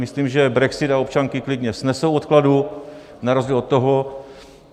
Myslím, že brexit a občanky klidně snesou odkladu na rozdíl od toho.